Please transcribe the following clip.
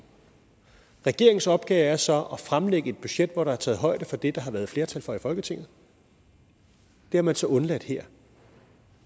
regeringens opgave er så at fremlægge et budget hvor der er taget højde for det der har været flertal for i folketinget det har man så undladt her